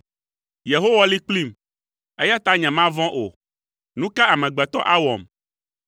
Yehowa li kplim, eya ta nyemavɔ̃ o. Nu ka amegbetɔ awɔm?